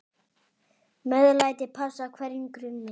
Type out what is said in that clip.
MEÐLÆTI passar hverjum grunni.